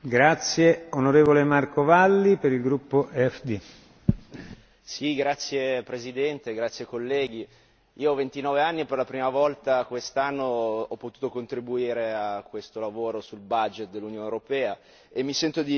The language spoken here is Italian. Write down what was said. Signor Presidente, onorevoli colleghi, io ho 29 anni e per la prima volta quest'anno ho potuto contribuire a questo lavoro sul dell'Unione europea e mi sento di fare un paio di puntualizzazioni, di dare un paio di suggerimenti ai colleghi e a chi è qua ad ascoltarmi.